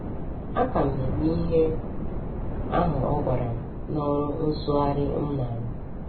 Aka m na - eme ihe ahụ ọ gwara m n’ọrụ nsụgharị m na - arụ.